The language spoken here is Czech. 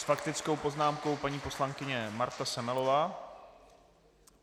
S faktickou poznámkou paní poslankyně Marta Semelová.